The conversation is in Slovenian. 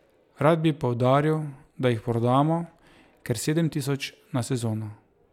Rad bi poudaril, da jih prodamo kar sedem tisoč na sezono.